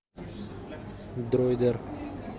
дроидер